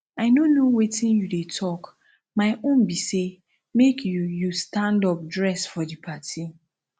i no know wetin you dey talk my own be say make you you stand up dress for the party